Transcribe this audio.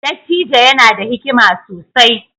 Dattijo yana da hikima sosai